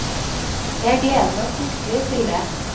Jeg gleder meg fryktelig til det.